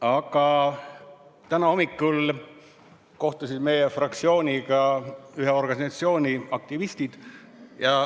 Aga täna hommikul kohtusid meie fraktsiooniga ühe organisatsiooni aktivistid.